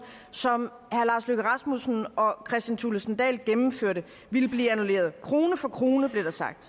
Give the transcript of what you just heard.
som herre lars løkke rasmussen og kristian thulesen dahl gennemførte ville blive annulleret krone for krone blev der sagt